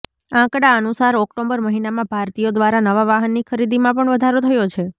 આંકડા અનુસાર ઓક્ટોબર મહિનામાં ભારતીયો દ્વારા નવા વાહનની ખરીદીમાં પણ વધારો થયો છે